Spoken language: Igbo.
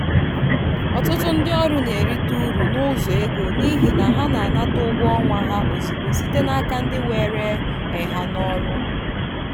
ọtụtụ ndị ọrụ na-erite uru n'ụzọ ego n'ihi na ha na-anata ụgwọ ọnwa ha ozugbo site n'aka ndị were um ha n'ọrụ.